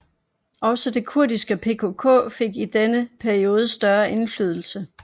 Også det kurdiske PKK fik i denne periode større indflydelse